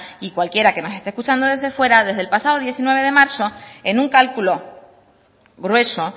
y cualquiera que no esté escuchando desde fuera desde el pasado diecinueve de marzo en un cálculo grueso